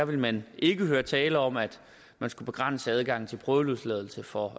ville man ikke høre tale om at man skulle begrænse adgangen til prøveløsladelse for